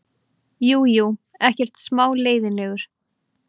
Jú, jú, ekkert smá leiðinlegur.